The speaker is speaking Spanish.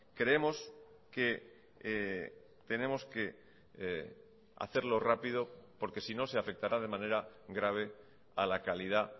creemos que tenemos que hacerlo rápido porque si no se afectará de manera grave a la calidad